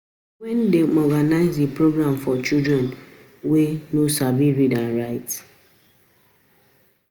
Na we wey organize the program for children wey no sabi read and write